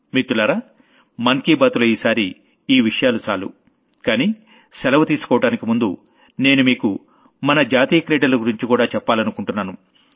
మిత్రులారా మనసులో మాటలో ఈసారి ఈ విషయాలు చాలు కానీ సెలవు తీసుకోవడానికి ముందు నేను మీకు మన నేషనల్ గేమ్స్ గురించి కూడా చెప్పాలనుకుంటున్నాను